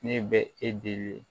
Ne bɛ e dege